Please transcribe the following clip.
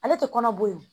Ale tɛ kɔnɔ bɔ yen